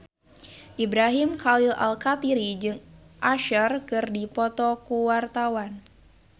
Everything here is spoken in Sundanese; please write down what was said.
Ibrahim Khalil Alkatiri jeung Usher keur dipoto ku wartawan